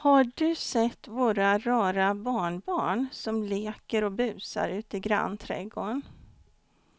Har du sett våra rara barnbarn som leker och busar ute i grannträdgården!